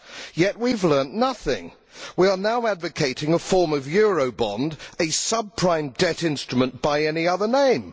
Yet we have learnt nothing we are now advocating a form of Eurobond, a sub prime debt instrument by any other name.